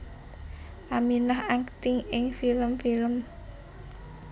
Aminah akting ing film film